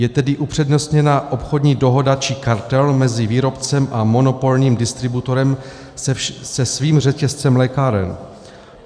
Je tedy upřednostněna obchodní dohoda či kartel mezi výrobcem a monopolním distributorem se svým řetězcem lékáren.